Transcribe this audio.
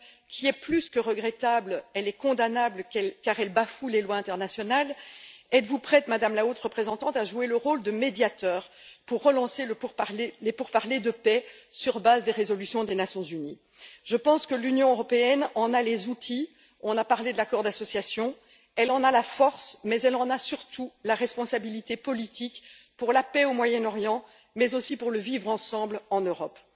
Trump, qui est plus que regrettable elle est condamnable, car elle bafoue les lois internationales êtes vous prête, Madame la Haute représentante, à jouer le rôle de médiatrice pour relancer les pourparlers de paix sur la base des résolutions des Nations unies? Je pense que l'Union européenne en a les outils on a parlé de l'accord d'association elle en a la force, mais elle en a surtout la responsabilité politique pour la paix au Moyen Orient, mais aussi pour le vivre ensemble en Europe.